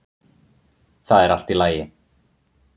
Það er allt í lagi.